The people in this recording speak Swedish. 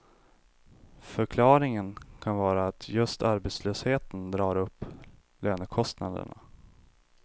Förklaringen kan vara att just arbetslösheten drar upp lönekostnaderna.